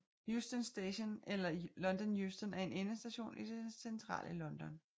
Euston Station eller London Euston er en endestation i det centrale London